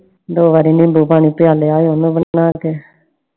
ਦੋ ਵਾਰੀ ਨੀਂਬੂ ਪਾਣੀ ਪਿਆ ਲਿਆ ਉਹਨੂੰ ਬਣਾ ਕੇl